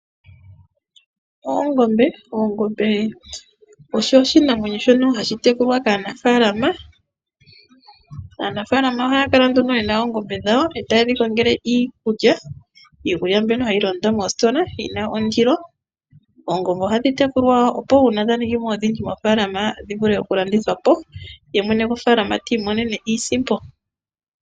Oongombe odho iinamwenyo mbyoka hayi tekulwa kaanafaalama. Aanafaalama ohaya kongele oongombe dhawo iikulya mbyono hayi landwa moositola. Uuna oongombe dhaningimo odhindji ano dhavalathana oomwene dhawo ohayi dhilandithapo yotaya i monene iisimpo yawo.